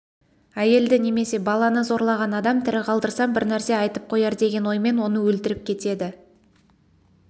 әйелді немесе баланы зорлаған адам тірі қалдырсам бір нәрсе айтып қояр деген оймен оны өлтіріп кетеді